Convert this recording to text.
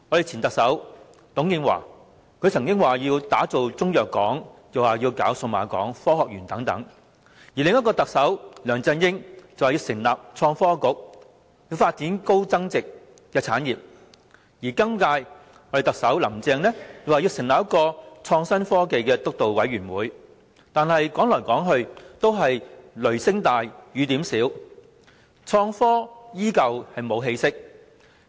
前特首董建華曾經說要打造中藥港，又說要興建數碼港及科學園等；另一位特首梁振英則說要成立創新及科技局，發展高增值產業；今屆林鄭特首更說要成立創新科技督導委員會，但說來說去都是雷聲大雨點小，創科依舊毫無起色。